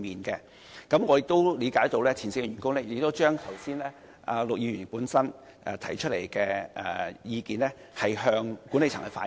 據我了解，前線員工已將陸議員剛才提出的意見向管理層反映。